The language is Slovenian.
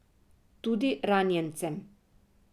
Tudi ranjencem!